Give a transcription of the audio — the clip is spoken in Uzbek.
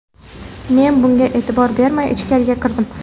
Men bunga e’tibor bermay, ichkariga kirdim.